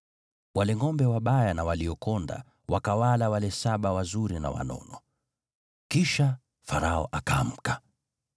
Wale ngʼombe wabaya na waliokonda wakawala wale saba wazuri na wanono. Kisha Farao akaamka.